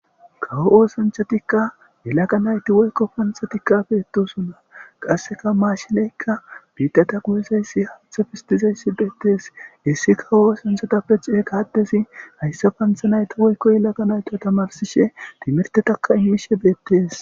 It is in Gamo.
kawo oosanchatikka yelaka nayti woykko panthatikka peettosonna qasseka maashineykka biidata guyuzayssi hantha fistizayssi beettees issi kawo oosanthatappe ceekaaddezi hayssa pantha nayta woykko yelaga nayto tamarsishe timirtetakka immishe beettees